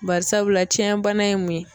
Bari sabula tiɲɛn bana ye mun ye.